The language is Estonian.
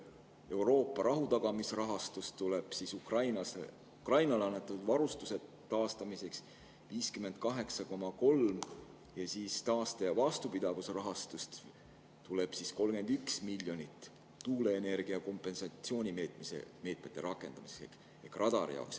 Euroopa rahutagamisrahastust tuleb Ukrainale annetatud varustuse 58,3 ja taaste- ja vastupidavusrahastust tuleb 31 miljonit tuuleenergiaga seotud kompensatsioonimeetmete rakendamiseks, sealhulgas radari jaoks.